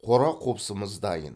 қора қопсымыз дайын